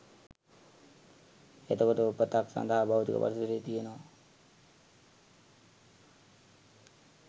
එතකොට උපතක් සඳහා භෞතික පරිසරය තියෙනවා